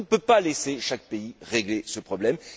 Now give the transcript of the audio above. On ne peut pas laisser chaque pays régler ce problème.